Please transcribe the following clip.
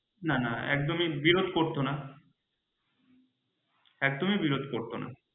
না না একদমই বিরধ করত না একদমই করত না।